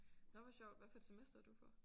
Nåh hvor sjovt hvad for et semester er du på?